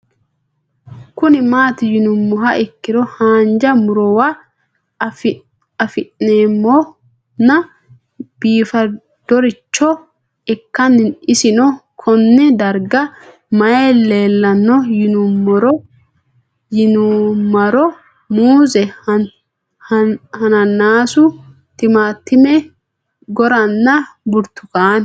Kuni mati yinumoha ikiro hanja murowa afine'mona bifadoricho ikana isino Kone darga mayi leelanno yinumaro muuze hanannisu timantime gooranna buurtukaane